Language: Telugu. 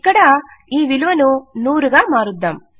ఇక్కడ ఈ విలువను 100 గా మారుద్దాం